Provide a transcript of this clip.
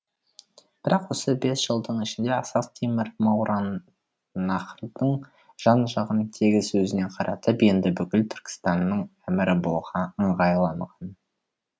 бірақ осы бес жылдың ішінде ақсақ темір мауараннахрдың жан жағын тегіс өзіне қаратып енді бүкіл түркістанның әмірі болуға ыңғайланған